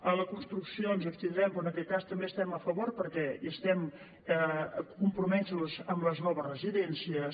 a la construcció ens hi abstindrem però en aquest cas també hi estem a favor perquè estem compromesos amb les noves residències